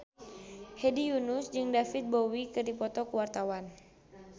Hedi Yunus jeung David Bowie keur dipoto ku wartawan